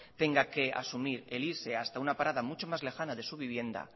tenga que asumir el irse hasta una parada mucho más lejana de su vivienda